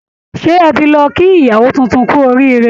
Ṣé ẹ ti lọ kí ìyawó tuntun kú orííre?